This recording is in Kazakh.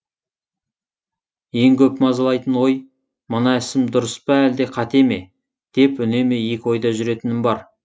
ең көп мазалайтын ой мына ісім дұрыс па әлде қате ме деп үнемі екі ойда жүретінім бар